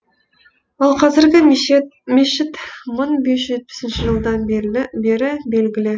ал қазіргі мешіт мың бес жүз жетпісінші жылдан бері белгілі